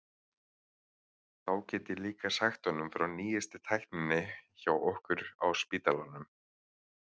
Þá get ég líka sagt honum frá nýjustu tækninni hjá okkur á spítalanum.